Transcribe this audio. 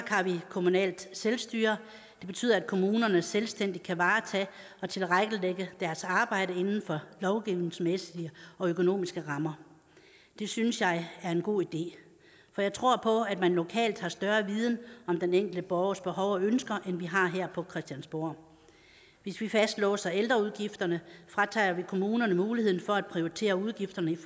kommunalt selvstyre det betyder at kommunerne selvstændigt kan varetage og tilrettelægge deres arbejde inden for lovgivningsmæssige og økonomiske rammer det synes jeg er en god idé jeg tror på at man lokalt har større viden om den enkelte borgers behov og ønsker end vi har her på christiansborg hvis vi fastlåser ældreudgifterne fratager vi kommunerne muligheden for at prioritere udgifterne i